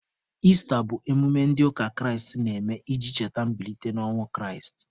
Ista bụ emume ndị ụka Kraịst na-eme iji cheta mbilite n'ọnwụ Kraịst.